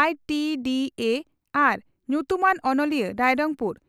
(ITDA ᱟᱨ ᱧᱩᱛᱩᱢᱟᱱ ᱚᱱᱚᱞᱤᱭᱟᱹ, ᱨᱟᱭᱨᱚᱝᱯᱩᱨ ᱾